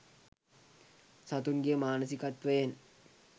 සතුන්ගේ මානසිකත්වයෙන්